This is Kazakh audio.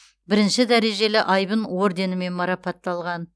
бірінші дәрежелі айбын орденімен марапатталған